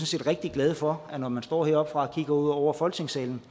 set rigtig glade for at når man står heroppe og kigger ud over folketingssalen